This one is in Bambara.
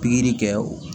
Pikiri kɛ o